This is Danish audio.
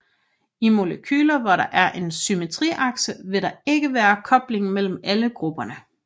I molekyler hvor der er en symmetriakse vil der ikke være kobling mellem alle grupperne